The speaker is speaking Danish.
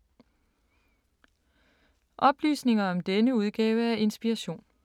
Oplysninger om denne udgave af Inspiration